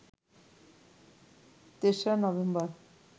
তেসরা নভেম্বর